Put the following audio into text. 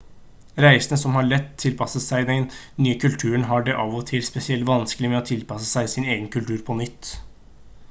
reisende som lett har tilpasset seg den nye kulturen har det av og til spesielt vanskelig med å tilpasse seg sin egen kultur på nytt